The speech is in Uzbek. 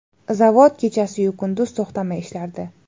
Zavod kechasiyu kunduz to‘xtamay ishlardi.